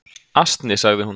"""Asni, sagði hún."""